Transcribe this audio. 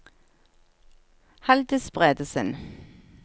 Halldis Bredesen